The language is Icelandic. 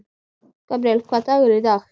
Gabríel, hvaða dagur er í dag?